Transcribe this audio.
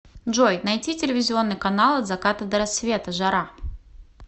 джой найти телевизионный канал от заката до рассвета жара